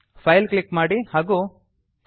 file click ಮಾಡಿ ಹಾಗೂ quit ಆಯ್ದುಕೊಳ್ಳಿ